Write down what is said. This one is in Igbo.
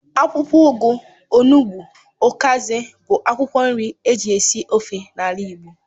Akwụkwọ ugu, onụgbu, ukazi bụ akwụkwọ nri eji esi ofe n'ala igbo.